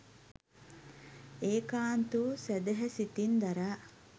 ඒකාන්ත වූ සැදැහැ සිතින් දරා